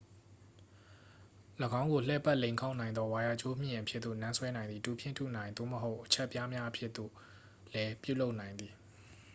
၎င်းကို လှည့်ပတ် လိမ်ခေါက်နိုင်သော ဝိုင်ယာကြိုးမျှင်အဖြစ်သို့ နန်းဆွဲနိုင်သည် တူဖြင့်ထုနိုင် သို့မဟုတ် အချပ်ပြားများအဖြစ်သို့လဲ ပြုလုပ်နိုင်သည်